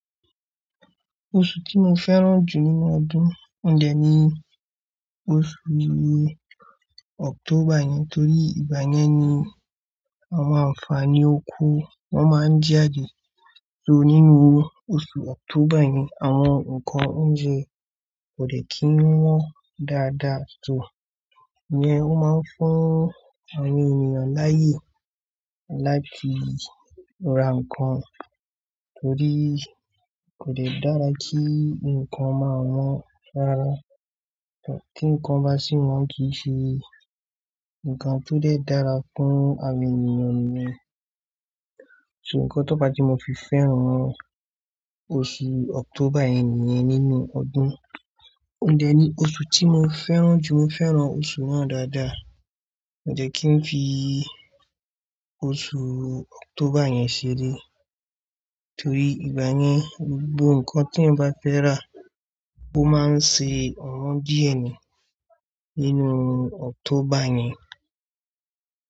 Oṣù tí mo fẹ́ràn jù nínú ọdún, ohuń dè ni oṣù October yìí, torí ìgbà yẹn ni àwọn àǹfààní oko wọn máa ń jáde. So nínú oṣù October yìí, àwọn nǹkan oúnjẹ kò dè kí n wọ́n dáadáa, so ìyẹn ó máa ń fún àwọn ènìyàn láyè láti ra nǹkan, torí kò dè dára kí nǹkan máa wọ́n rárá. Kí nǹkan bá sì wọ́n kì í ṣe nǹkan tó lè dára fún àwọn ènìyàn nìyẹn. Ṣo nǹkan tó fà tí mo fi fẹ́ràn oṣù October yẹn nìyẹn nínú ọdún, ohun dẹ́ ni oṣù tí mo fẹ́ràn jù. Mo fẹ́ràn oṣù náà dáadáa, mo dẹ́ kí n fi oṣù October yẹn ṣeré, torí ìgbà yẹn, gbogbo nǹkan tí ẹ̀èyàn bá fẹ́ rà, ó máa ń ṣe ọ̀wọ́n díẹ̀ ni nínú October yẹn.